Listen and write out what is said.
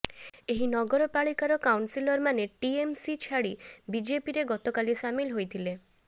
ଏହି ନଗରପାଳିକାର କାଉନ୍ସିଲରମାନେ ଟିଏମ୍ସି ଛାଡ଼ି ବିଜେପିରେ ଗତକାଲି ସାମିଲ ହୋଇଥିଲେ